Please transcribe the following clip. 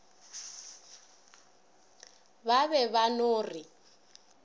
ba be ba no re